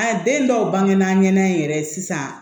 A den dɔw bangebaa ɲɛna in yɛrɛ sisan